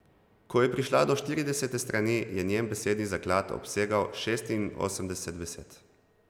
Ko je prišla do štiridesete strani, je njen besedni zaklad obsegal šestinosemdeset besed.